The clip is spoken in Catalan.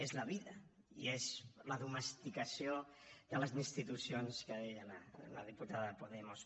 és la vida i és la domesticació de les institucions que deia la diputada de podemos